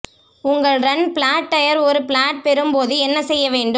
உங்கள் run flat tyre ஒரு flat பெறும் போது என்ன செய்ய வேண்டும்